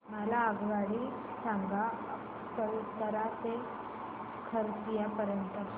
मला आगगाडी सांगा अकलतरा ते खरसिया पर्यंत च्या